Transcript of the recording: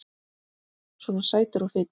Svona sætur og fínn!